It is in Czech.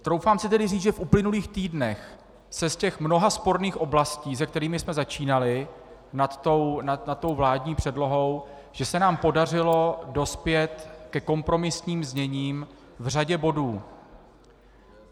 Troufám si tedy říct, že v uplynulých týdnech se z těch mnoha sporných oblastí, se kterými jsme začínali nad tou vládní předlohou, že se nám podařilo dospět ke kompromisním zněním v řadě bodů.